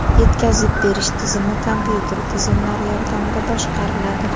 Yetkazib berish tizimi kompyuter tizimlari yordamida boshqariladi .